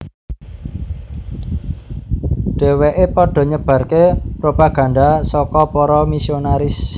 Dheweke padha nyebarke propaganda saka para misionaris